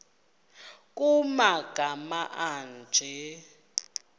nkr kumagama anje